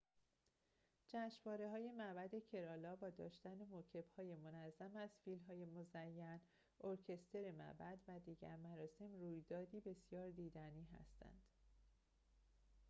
جشنواره‌های معبد کرالا با داشتن موکب‌های منظم از فیل‌های مزین ارکستر معبد و دیگر مراسم رویدادی بسیار دیدنی هستند